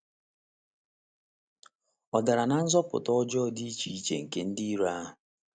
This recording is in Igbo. Ọ̀ dara ná nzupụta ọjọọ dị iche iche nke ndị iro ahụ?